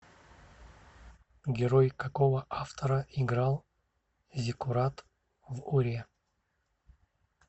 герой какого автора играл зиккурат в уре